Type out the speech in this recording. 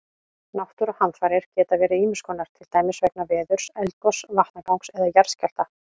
Náttúruhamfarir geta verið ýmis konar, til dæmis vegna veðurs, eldgoss, vatnagangs eða jarðskjálfta.